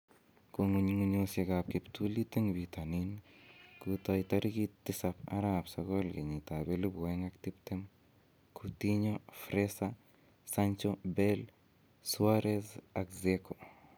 Kong'ung'unyosiek ab kiptulit en bitonin kotai tarigit 07/09/2020: Coutinho, Fraser, Sancho, Bale, Suarez, Dzeko